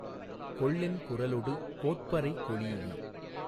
கொள்ளென் குரலொடு கோட்பறை கொளீஇ